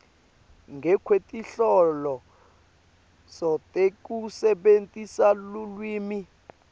ngekwetinhloso tekusebentisa lulwimi